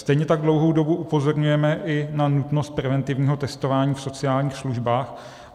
Stejně tak dlouhou dobu upozorňujeme i na nutnost preventivního testování v sociálních službách.